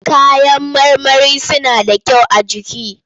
Kayan marmari suna da kyau a jiki.